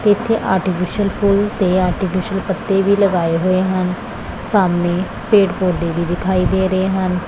ਤੇ ਇੱਥੇ ਆਰਟੀਫਿਸ਼ਲ ਫੁੱਲ ਤੇ ਆਰਟੀਫਿਸ਼ਲ ਪੱਤੇ ਵੀ ਲਗਾਏ ਹੋਏ ਹਨ ਸਾਹਮਨੇ ਪੇੜ ਪੌਧੇ ਵੀ ਦਿਖਾਈ ਦੇ ਰਹੇ ਹਨ।